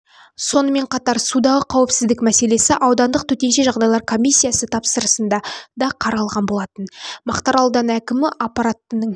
сонымен қатат судағы қауіпсіздік мәселесі аудандық төтенше жағдайлар комиссиясы отырысында да қаралды мақтарал ауданы әкімі аппаратының